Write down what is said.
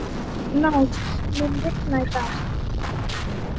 Náð, mun rigna í dag?